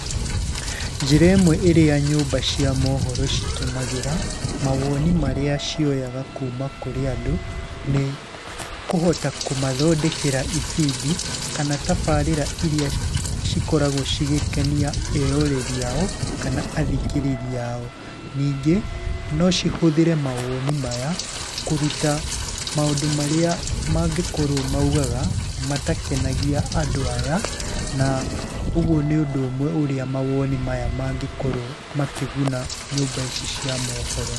Njĩra ĩmwe ĩrĩa nyũmba cia mohoro citũmagĩra mawoni marĩa cioyaga kuuma kũrĩ andũ, nĩ kũhota kũmathondekera ibindi kana tabarĩra iria cikoragwo cigĩkenia eroreri ao kana athikĩrĩria ao. Ningĩ no cihũthĩre mawoni maya, kũruta maũndũ marĩa mangĩkorwo maugaga matakenagia andũ aya, na ũguo nĩ ũndũ ũmwe ũrĩa mawoni maya mangĩkorũo makĩguna nyũmba ici cia mohoro.